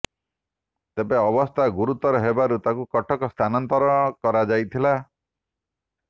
ତେବେ ଅବସ୍ଥା ଗୁରୁତର ହେବାରୁ ତାକୁ କଟକ ସ୍ଥାନାନ୍ତର କରାଯାଇଥିଲା